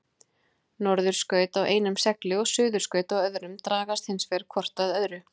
Norðurskaut á einum segli og suðurskaut á öðrum dragast hins vegar hvort að öðru.